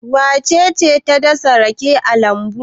Wace ce ta dasa rake a lambu?